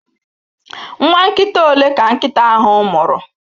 Nwa nkita ole ka nkịta ahụ mụrụ?